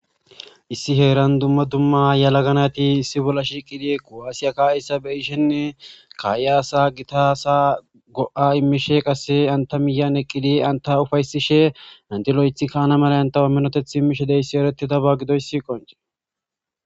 issi heeran dumma dumma yala ganati issi bolla shiiqidi ko7aasiyakka issabeyishenne ka7iaasa gitasa go7a immishe qasse anta miyan eqqidi anta ufaysishe antilo7ethi kaana mala antaho minoteth immishe deyssi eretidaba gidoyssi qonce